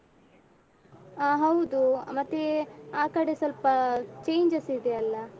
ಆ ಹೌದು ಮತ್ತೇ ಆಕಡೆ ಸ್ವಲ್ಪ changes ಇದೆಯಲ್ಲ.